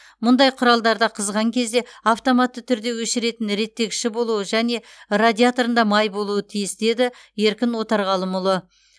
мұндай құралдарда қызған кезде автоматты түрде өшіретін реттегіші болуы және радиаторында май болуы тиіс деді еркін отарғалымұлы